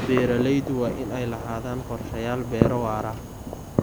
Beeraleydu waa inay lahaadaan qorshayaal beero waara.